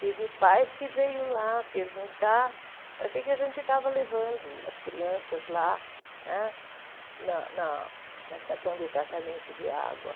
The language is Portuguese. teve pais que veio lá perguntar para que a gente estava levando as crianças lá né na na estação de tratamento de água.